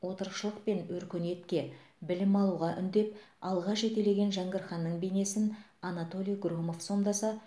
отырықшылық пен өркениетке білім алуға үндеп алға жетелеген жәңгір ханның бейнесін анатолий громов сомдаса